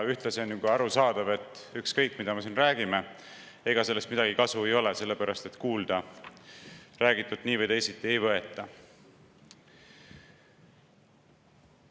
Ühtlasi on ju ka arusaadav, et ükskõik, mida me siin räägime, ega sellest midagi kasu ei ole, sest räägitut kuulda nii või teisiti ei võeta.